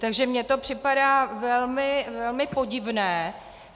Takže mně to připadá velmi podivné.